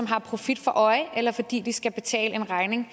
profit for øje eller fordi de skal betale en regning